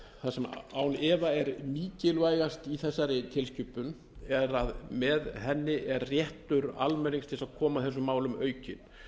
það sem án efa er mikilvægast í þessari tilskipun er að með henni er réttur almennings til þess að koma að þessum málum aukinn